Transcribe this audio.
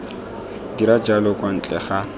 dira jalo kwa ntle ga